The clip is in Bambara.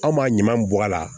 Anw ma ɲaman bɔ a la